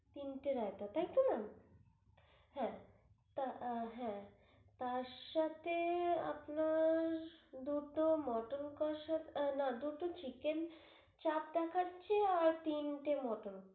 তিনটে রায়তা তাইতো ma'am? হ্যাঁ আহ হ্যাঁ তিনটা রাইতা তার সাথে আপনার দুটো mutton কষা আহ না দুটো chicken চাপ দেখাচ্ছে আর তিনটে mutton